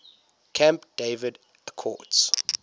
camp david accords